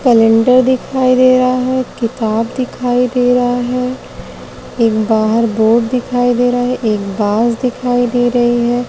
Calendar दिखाई दे रहा है। किताब दिखाई दे रहा है। एक बाहर बोर्ड दिखाई दे रहा है। एक बाज दिखाई दे रही है।